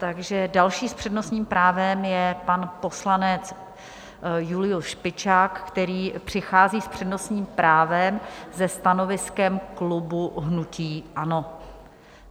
Takže další s přednostním právem je pan poslanec Julius Špičák, který přichází s přednostním právem se stanoviskem klubu hnutí ANO.